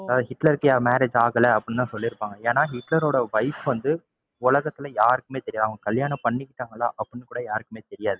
ஹிட்லருக்கு marriage ஆகலை அப்படின்னு தான் சொல்லிருப்பாங்க. ஏன்னா ஹிட்லரோட wife வந்து உலகத்துல யாருக்குமே தெரியாது. அவங்க கல்யாணம் பண்ணிகிட்டாங்களா அப்படின்னு கூட யாருக்குமே தெரியாது.